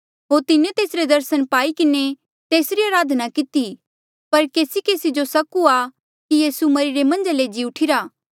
होर तिन्हें तेसरे दर्सन पाई किन्हें तेस जो अराधना कितेया पर केसीकेसी जो सक हुआ कि यीसू मरिरे मन्झ ले जी उठीरा